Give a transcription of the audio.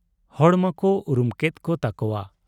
ᱦᱚᱲ ᱢᱟᱠᱚ ᱩᱨᱩᱢ ᱠᱮᱫ ᱠᱚ ᱛᱟᱠᱚᱣᱟ ᱾